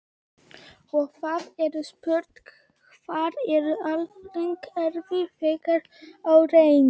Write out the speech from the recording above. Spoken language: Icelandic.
Og það er spurt: Hvar er velferðarkerfið þegar á reynir?